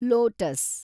lotus